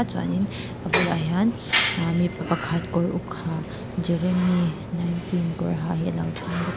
chuanin a bulah hian ahh mipa pakhat kawr uk ha jeremy nineteen kawr ha hi alo ding bawk a.